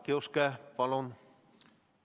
Jaak Juske, palun!